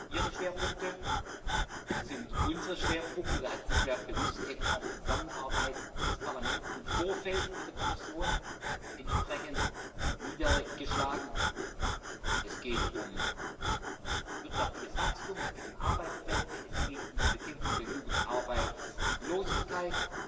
Ihre Schwerpunkte sind unsere Schwerpunkte, da hat sich ja bewusst eben auch die Zusammenarbeit des Parlaments im Vorfeld mit der Kommission entsprechend niedergeschlagen. Es geht um wirtschaftliches Wachstum, es geht um Arbeitsplätze, es geht um die Bekämpfung der Jugendarbeitslosigkeit,